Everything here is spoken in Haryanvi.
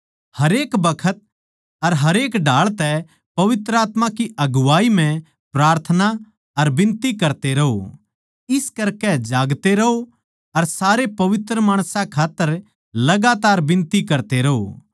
हरेक बखत अर हरेक ढाळ तै पवित्र आत्मा की अगुवाई म्ह प्रार्थना अर बिनती करते रहों इस करकै जागते रहों अर सारे पवित्र माणसां खात्तर लगातार बिनती करते रहों